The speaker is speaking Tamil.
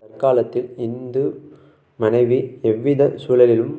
தற்காலத்தில் இந்து மனைவி எவ்விதச் சூழலிலும்